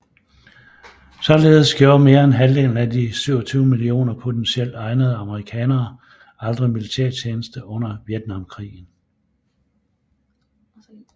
Således gjorde mere end halvdelen af de 27 mio potentielt egnede amerikanere aldrig militærtjeneste under Vietnamkrigen